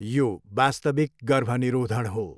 यो वास्तविक गर्भनिरोधण हो।